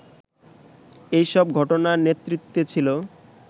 এসব ঘটনার নেতৃত্বে ছিল